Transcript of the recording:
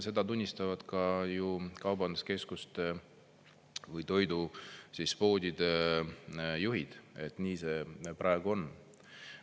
Seda tunnistavad ka kaubanduskeskuste või toidupoodide juhid, et nii see praegu on.